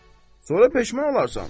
Sonra peşman olarsan.